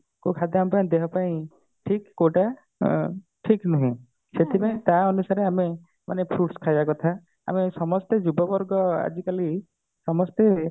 କୋଉ ଖାଦ୍ୟ ଆମ ପାଇଁ ଦେହ ପାଇଁ ଠିକ କୋଉଟା ଠିକ ନୁହେଁ ସେଥିପାଇଁ ଟା ଅନୁସାରେ ଆମେ ମାନେ fruits ଖାଇବା କଥା ଆମେ ସମସ୍ତେ ଯୁବ ବର୍ଗ ଆଜିକାଲି ସମସ୍ତେ